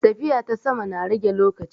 Tafiya ta sama na rage lokaci.